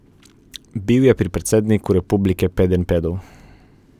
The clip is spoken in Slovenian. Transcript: Bil je pri predsedniku republike Pedenjpedov.